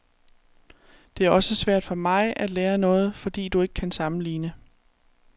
Det er også svært for mig at lære noget, fordi du ikke kan sammenligne.